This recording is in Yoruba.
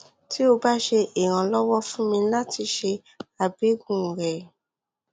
ti o ba ṣe iranlọwọ fun mi lati ṣe abẹgun rẹ